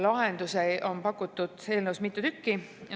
Lahendusi on pakutud eelnõus mitu tükki.